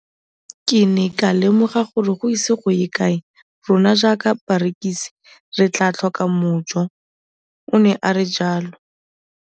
Ke ne ka lemoga gore go ise go ye kae rona jaaka barekise re tla tlhoka mojo, o ne a re jalo.